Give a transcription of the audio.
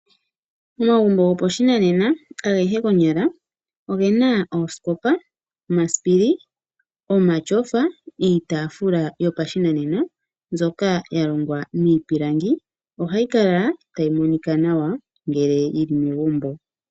Omagumbo gopashinanena, agehe konyala, ogena oosikopa, omasipili, omatyofa, iitaafula yopashinanena mbyoka ya longwa miipilangi, ohayi kala tayi Monika nawa ngele yi li kegumbo.